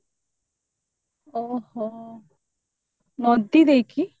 ଓଃହୋ ନଦୀ ଦେଇକି